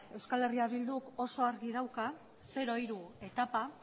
eh bilduk oso argi dauka zero hiru etapa